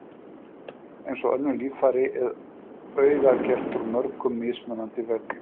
Eins og önnur líffæri er augað gert úr mörgum mismunandi vefjum.